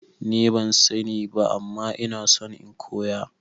Nima ban sani ba ama ina son in koya